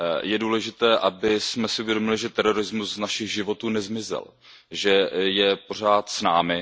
Je důležité, abychom si uvědomili, že terorismus z našich životů nezmizel, že je pořád s námi.